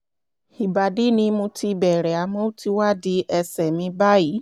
ìbàdí ni mo ti bẹ̀rẹ̀ àmọ́ ó ti wá di ẹsẹ̀ mi báyìí